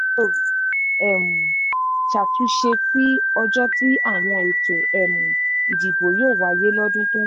inov um ṣàtúnṣe sí ọjọ́ tí àwọn ètò um ìdìbò yóò wáyé lọ́dún tó ń bọ̀